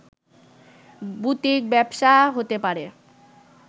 boutique ব্যবসা হতে পারে